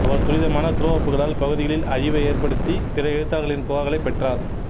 அவரது துரிதமான த்ரோ அப்புகளால் பகுதிகளில் அழிவை ஏற்படுத்தி பிற எழுத்தாளர்களில் புகார்களைப் பெற்றார்